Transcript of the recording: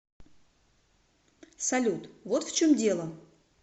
салют вот в чем дело